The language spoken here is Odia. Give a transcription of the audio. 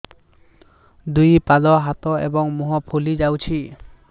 ଦୁଇ ପାଦ ହାତ ଏବଂ ମୁହଁ ଫୁଲି ଯାଉଛି